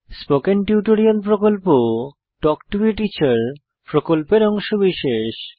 spoken tutorial প্রকল্পTalk to a teacher প্রকল্পের অংশবিশেষ